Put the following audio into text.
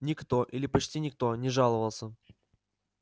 никто или почти никто не жаловался